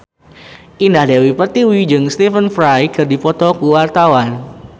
Indah Dewi Pertiwi jeung Stephen Fry keur dipoto ku wartawan